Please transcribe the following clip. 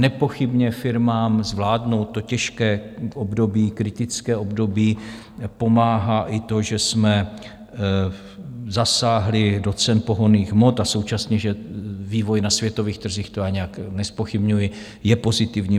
Nepochybně firmám zvládnout to těžké období, kritické období pomáhá i to, že jsme zasáhli do cen pohonných hmot, a současně že vývoj na světových trzích, to já nijak nezpochybňuji, je pozitivní.